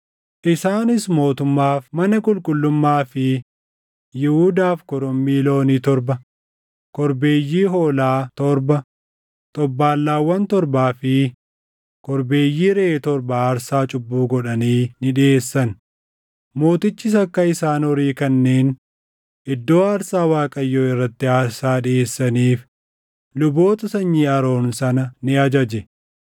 Isaanis mootummaaf, mana qulqullummaa fi Yihuudaaf korommii loonii torba, korbeeyyii hoolaa torba, xobbaallaawwan torbaa fi korbeeyyii reʼee torba aarsaa cubbuu godhanii ni dhiʼeessan. Mootichis akka isaan horii kanneen iddoo aarsaa Waaqayyoo irratti aarsaa dhiʼeessaniif luboota sanyii Aroon sana ni ajaje.